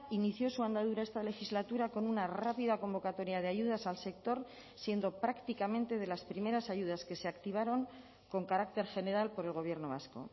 inició su andadura esta legislatura con una rápida convocatoria de ayudas al sector siendo prácticamente de las primeras ayudas que se activaron con carácter general por el gobierno vasco